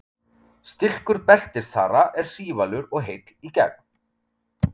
Stilkur beltisþara er sívalur og heill í gegn.